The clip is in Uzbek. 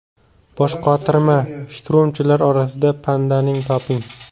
Boshqotirma: shturmchilar orasidan pandani toping.